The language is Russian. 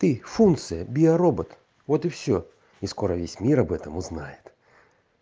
ты функция биоробот вот и все и скоро весь мир об этом узнает